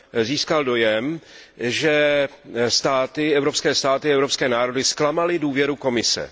získal dojem, že evropské státy, evropské národy zklamaly důvěru Komise.